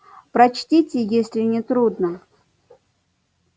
прочтите если не трудно